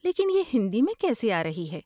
لیکن یہ ہندی میں کیسی آرہی ہے؟